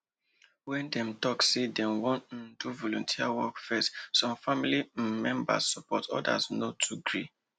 when dem talk say dem wan um do volunteer work first some family um members support others no too gree